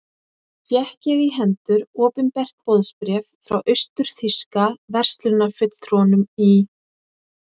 Fékk ég í hendur opinbert boðsbréf frá austur-þýska verslunarfulltrúanum í